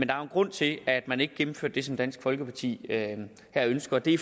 grund til at man ikke gennemførte det som dansk folkeparti her ønsker det